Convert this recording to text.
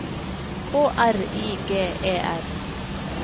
K R I G E R